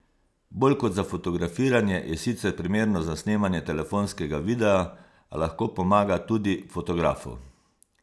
Bolj kot za fotografiranje je sicer primerno za snemanje telefonskega videa, a lahko pomaga tudi fotografu.